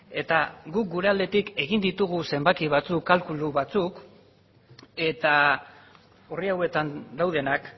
eta guk gure aldetik egin ditugu zenbaki batzuk kalkulu batzuk eta orri hauetan daudenak